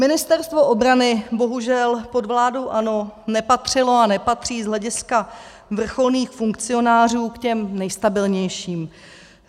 Ministerstvo obrany bohužel pod vládou ANO nepatřilo a nepatří z hlediska vrcholných funkcionářů k těm nejstabilnějším.